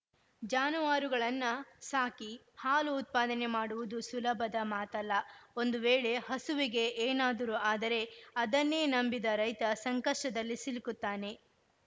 ಜಾನುವಾರುಗಳನ್ನ ಸಾಕಿ ಹಾಲು ಉತ್ಪಾದನೆ ಮಾಡುವುದು ಸುಲಭದ ಮಾತಲ್ಲ ಒಂದು ವೇಳೆ ಹಸುವಿಗೆ ಏನಾದರು ಆದರೆ ಅದನ್ನೇ ನಂಬಿದ ರೈತ ಸಂಕಷ್ಟದಲ್ಲಿ ಸಿಲುಕುತ್ತಾನೆ